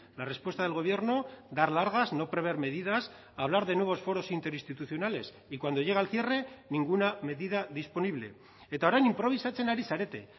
la respuesta del gobierno dar largas no prever medidas hablar de nuevos foros interinstitucionales y cuando llega el cierre ninguna medida disponible eta orain inprobisatzen ari zarete